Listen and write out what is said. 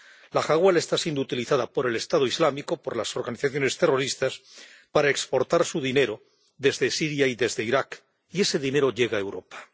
La hawala está siendo utilizada por el Estado Islámico, por las organizaciones terroristas para exportar su dinero desde Siria y desde Irak, y ese dinero llega a Europa.